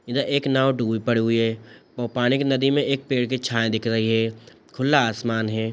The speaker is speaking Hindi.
इधर एक नाव डूबी पड़ी हुई है | पानी के नदी मे एक पेड़ की छाया दिख रही है | खुला आसमान है।